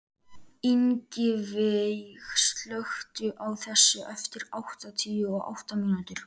Ingiveig, slökktu á þessu eftir áttatíu og átta mínútur.